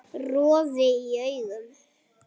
Roði í augum